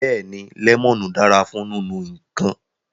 Beeni, lemonu dara fun ninu nkan